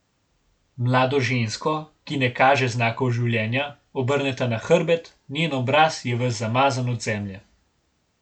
Mlado žensko, ki ne kaže znakov življenja, obrneta na hrbet, njen obraz je ves zamazan od zemlje.